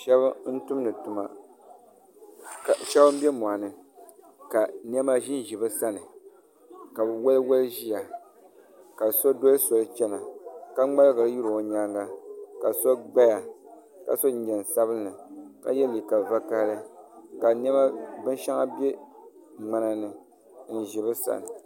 Shab n bɛ moɣani ka niɛma ʒinʒi bi sani ka bi woli woli ʒiya ka so doli soli chɛna ka ŋmaligiri lihiri o nyaanga ka so gbaya ka so jinjɛm sabinli ka yɛ liiga vakaɣali ka niɛma binshɛŋa bɛ ŋmana ni n ʒi bi sani